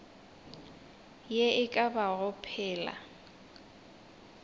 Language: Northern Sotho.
ye e ka bago phela